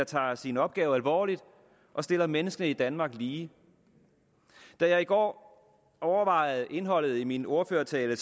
tager sin opgave alvorligt og stiller mennesker i danmark lige da jeg i går overvejede indholdet i min ordførertale